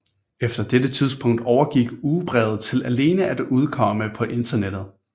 Efter dette tidspunkt overgik ugebrevet til alene at udkomme på internettet